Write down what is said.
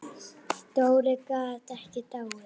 Dóri gat ekki dáið.